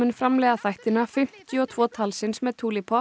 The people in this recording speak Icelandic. framleiða þættina fimmtíu og tvö talsins með